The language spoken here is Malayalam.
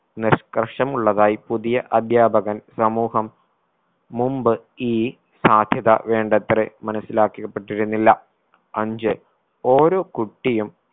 നിഷ്കർഷമുള്ളതായി പുതിയ അധ്യാപകൻ സമൂഹം മുമ്പ് ഈ സാധ്യത വേണ്ടത്രെ മനസിലാക്കി പെട്ടിരുന്നില്ല അഞ്ച്‌ ഓരോ കുട്ടിയും